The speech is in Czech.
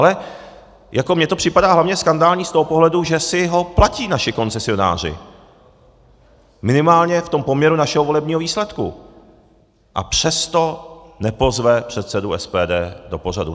Ale jako mně to připadá hlavně skandální z toho pohledu, že si ho platí naši koncesionáři, minimálně v tom poměru našeho volebního výsledku, a přesto nepozve předsedu SPD do pořadu.